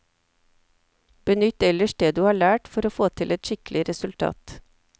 Benytt ellers det du har lært for å få til et skikkelig resultat.